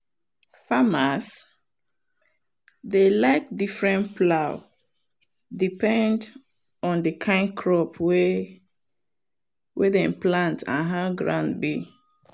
farmers dey like different plow depend on the kind crop wey wey dem plant and how ground be.